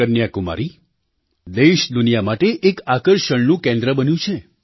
કન્યાકુમારી દેશ દુનિયા માટે એક આકર્ષણનું કેન્દ્ર બન્યું છે